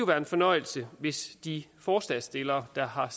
været en fornøjelse hvis de forslagsstillere der har